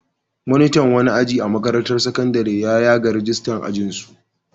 Monitan wani aji a makarantar sakandare ya yaga ragistar ajinsu.